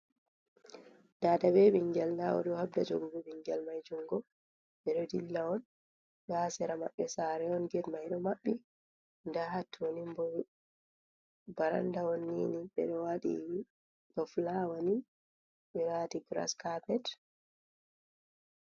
Dada be ɓingel nda oɗo habda jogugo ɓingel mai jungo, ɓeɗo dilla on nda hasera maɓɓe sare on get maiɗo maɓɓi, nda hattoni bo baranda on nini ɓeɗo waɗi ba fulawani ɓewati giras kapet.